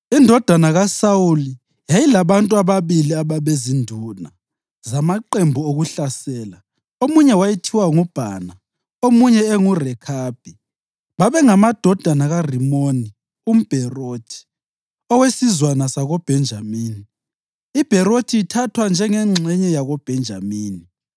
Indodana kaSawuli yayilabantu ababili ababezinduna zamaqembu okuhlasela. Omunye wayethiwa nguBhana omunye enguRekhabi; babengamadodana kaRimoni umBherothi owesizwana sakoBhenjamini, iBherothi ithathwa njengengxenye yakoBhenjamini,